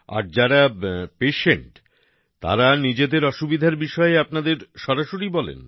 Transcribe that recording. আর যারা পেশেন্ট তারা নিজেদের অসুবিধার বিষয়ে আপনাদের সরাসরি বলেন